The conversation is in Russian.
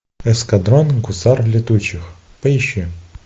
эскадрон гусар летучих поищи